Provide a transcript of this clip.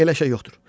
Elə şey yoxdur.